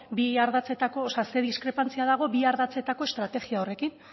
bi ardatzetako o sea ze diskrepantzia dago bi ardatzetako estrategia horrekin